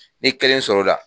N ye kelen sɔr'o da.